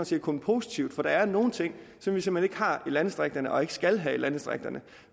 set kun positivt for der er nogle ting som vi simpelt hen ikke har i landdistrikterne og ikke skal have i landdistrikterne